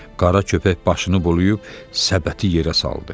Qara köpək başını bulayıb səbəti yerə saldı.